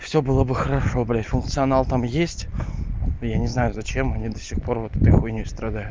всё было бы хорошо блядь функционал там есть я не знаю зачем они до сих пор вот этой хуйнёй страдают